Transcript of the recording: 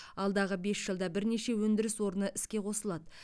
алдағы бес жылда бірнеше өндіріс орны іске қосылады